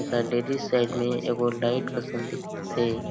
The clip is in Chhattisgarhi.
एक डेल्ही साइड में एगो लाइट असन दिखथे।